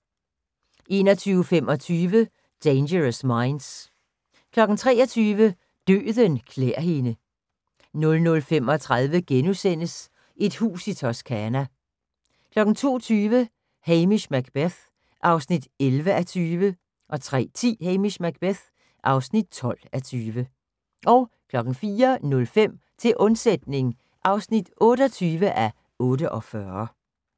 21:25: Dangerous Minds 23:00: Døden klæ'r hende 00:35: Et hus i Toscana * 02:20: Hamish Macbeth (11:20) 03:10: Hamish Macbeth (12:20) 04:05: Til undsætning (28:48)